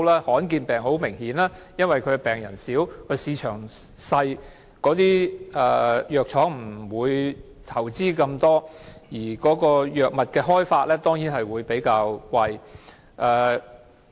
罕見疾病很明顯地是因為病人少和市場小，藥廠不會投資那麼多，藥物的研發當然會比較貴。